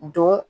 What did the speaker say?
Don